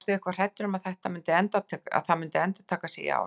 Varstu eitthvað hræddur um að það myndi endurtaka sig í ár?